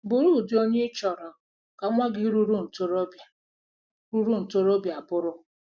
Bụrụ ụdị onye ị chọrọ ka nwa gị ruru ntorobịa ruru ntorobịa bụrụ.